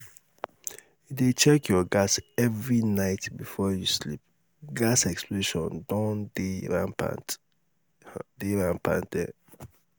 dey check your gas every night before you sleep gas explosion don um dey rampant um dey rampant um